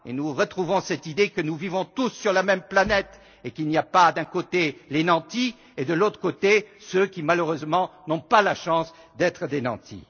Nous retrouvons cette idée que nous vivons tous sur la même planète et qu'il n'y a pas, d'un côté, les nantis et, de l'autre, ceux qui malheureusement n'ont pas la chance d'être des nantis.